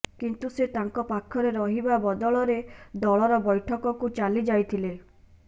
କିନ୍ତୁ ସେ ତାଙ୍କ ପାଖରେ ରହିବା ବଦଳରେ ଦଳର ବୈଠକକୁ ଚାଲିଯାଇଥିଲେ